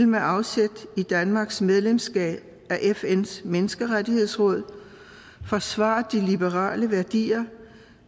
med afsæt i danmarks medlemskab af fns menneskerettighedsråd vil forsvare de liberale værdier